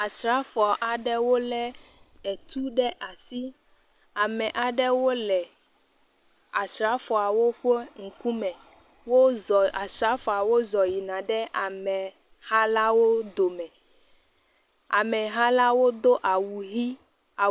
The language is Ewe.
Asrafo aɖewo lé etu ɖe asi. Ame aɖewo le asrafoawo be ŋkume. Wozɔ asrafoawo zɔ yina ɖe ameha la wo dome. Ameha la wodo awu ʋɛ̃.